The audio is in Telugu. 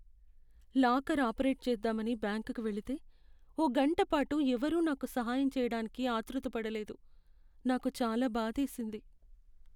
లాకర్ ఆపరేట్ చేద్దామని బ్యాంకుకి వెళితే, ఓ గంట పాటు ఎవరూ నాకు సహాయం చేయడానికి ఆత్రుతపడలేదు. నాకు చాలా బాధేసింది.